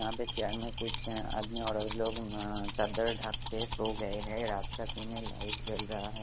यहाँ पे छियानबे कुछ आदमी औरत लोंग मम चदर ढक के सो गए है रात का सीन है लाइट जल रहा है ।